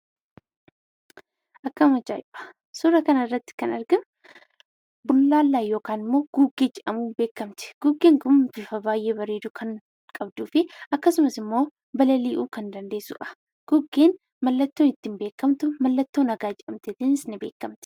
Akkam ajaa'iba! Suuraa kana irratti kan argamu bullaallaa yookaan immoo gugee jedhamuun beekamti. Gugeen kun bifa baay'ee bareedu kan qabduu fi akkasumas immoo balali'uu kan dandeessudha. Gugeen mallattoo ittiin beekamtu, mallattoo nagaa jedhamuunis ni beekamti.